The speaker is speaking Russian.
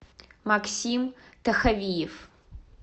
максим тахавиев